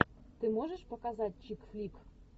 ты можешь показать чик флик